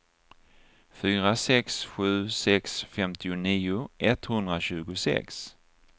fyra sex sju sex femtionio etthundratjugosex